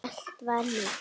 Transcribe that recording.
Allt var nýtt.